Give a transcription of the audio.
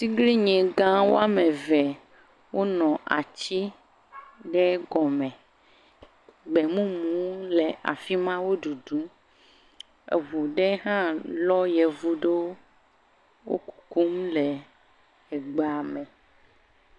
Atiglinyi gã wɔme eve wonɔ atsi aɖe gɔme. Gbemumu le afi ma wo ɖuɖum. Eŋu aɖe hã lɔ yevu aɖewo wok kum le egbea me.